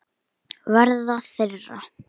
Verða þeirra.